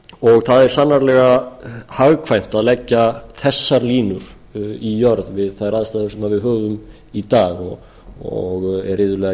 og það er sannarlega hagkvæmt að leggja þessar línur í jörð við þær aðstæður sem við höfum í dag og er iðulega